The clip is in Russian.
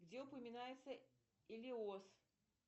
где упоминается элиос